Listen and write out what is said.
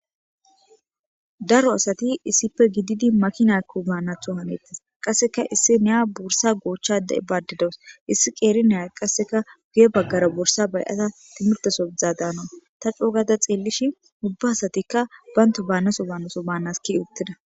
daro asati issipe gididi makinakki baanatho hanettes qasseka issi neya bursa goochchade baadidows issi qeeri neya qasseka guye baggara bursa bayata timirtoso dzaadaana ta coogada xeellishin ubba asatikka baynto baanaso baannaso baanas ke'i uttida